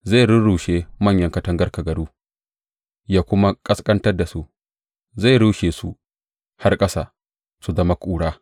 Zai rurrushe manyan katangar kagaru ya kuma ƙasƙantar da su; zai rushe su har ƙasa, su zama ƙura.